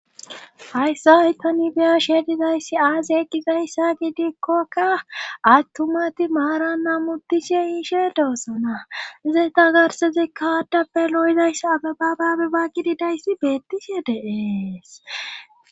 hayssa aytanibeyashedidayssi aaziy eqqizayssa gidikkokka attumati maara namutishe iishe doossona ze ta garse zekka haaddappe lo7zays ababababe ba gididayssi beettishe deees